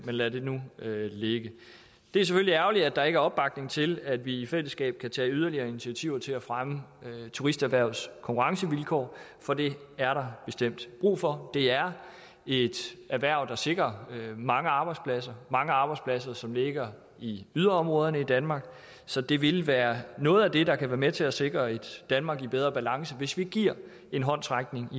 lad det nu ligge det er selvfølgelig ærgerligt at der ikke er opbakning til at vi i fællesskab kan tage yderligere initiativer til at fremme turisterhvervets konkurrencevilkår for det er der bestemt brug for det er et erhverv som sikrer mange arbejdspladser mange arbejdspladser som ligger i yderområderne i danmark så det vil være noget af det der kan være med til at sikre et danmark i bedre balance hvis vi giver en håndsrækning